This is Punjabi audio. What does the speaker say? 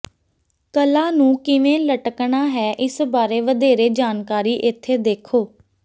ਕਲਾ ਨੂੰ ਕਿਵੇਂ ਲਟਕਣਾ ਹੈ ਇਸ ਬਾਰੇ ਵਧੇਰੇ ਜਾਣਕਾਰੀ ਇੱਥੇ ਦੇਖੋ